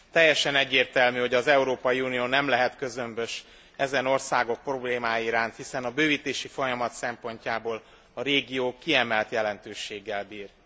Teljesen egyértelmű, hogy az Európai Unió nem lehet közömbös ezen országok problémái iránt, hiszen a bővítési folyamat szempontjából a régió kiemelt jelentőséggel bír.